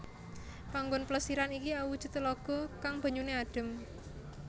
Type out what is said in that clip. Panggon Plesiran iki awujud telaga kang banyuné adem